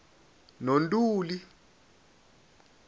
nontuli